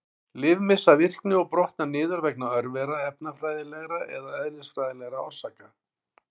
Lyf missa virkni og brotna niður vegna örvera, efnafræðilegra eða eðlisfræðilegra orsaka.